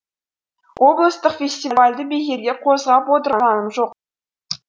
облыстық фестивальді бекерге қозғап отырғамын жоқ